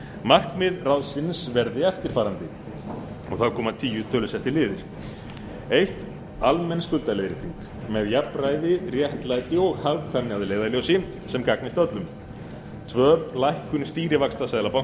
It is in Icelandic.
markmið ráðsins verði eftirfarandi og þar koma tíu tölusettir liðir fyrsta almenn skuldaleiðrétting með jafnræði réttlæti og hagkvæmni að leiðarljósi sem gagnist öllum öðrum lækkun stýrivaxta seðlabanka